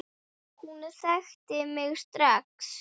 Hún þekkti mig strax.